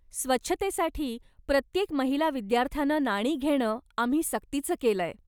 स्वच्छतेसाठी, प्रत्येक महिला विद्यार्थ्यानं नाणी घेणं आम्ही सक्तीचं केलंय.